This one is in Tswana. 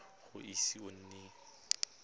ga o ise o nne